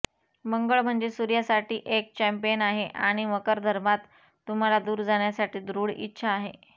मंगळ म्हणजे सूर्यासाठी एक चैम्पियन आहे आणि मकरधर्मात तुम्हाला दूर जाण्यासाठी दृढ इच्छा आहे